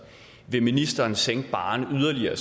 vil ministeren sænke barren yderligere